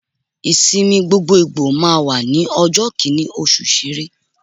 Ìsinmi gbogboògbò máa wà ní ọjọ́ Kínní oṣù Sẹrẹ.